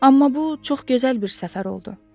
Amma bu çox gözəl bir səfər oldu.